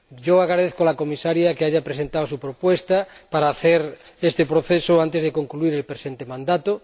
Yo agradezco a la Comisaria que haya presentado su propuesta para hacer este proceso antes de que concluya el presente mandato.